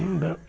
Não deram.